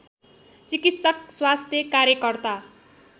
चिकित्सक स्वास्थ्य कार्यकर्ता